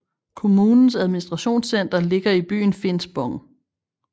Kommunens administrationscenter ligger i byen Finspång